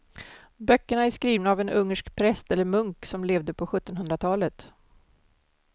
Böckerna är skrivna av en ungersk präst eller munk som levde på sjuttonhundratalet.